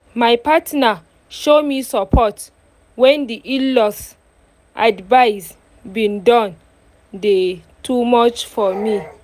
my partner show me support when di in-laws advice been don dey too much for me